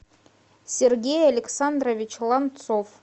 сергей александрович ланцов